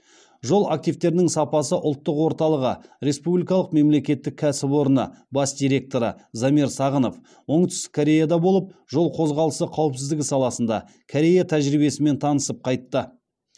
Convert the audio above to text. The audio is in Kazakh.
жол активтерінің сапасы ұлттық орталығы республикалық мемлекеттік кәсіпорыны бас директоры замир сағынов оңтүстік кореяда болып жол қозғалысы қауіпсіздігі саласында корея тәжірибесімен танысып қайтты